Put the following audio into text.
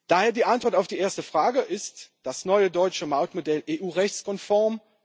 Daher die Antwort auf die erste Frage Ist das neue deutsche Mautmodell EU rechtskonform?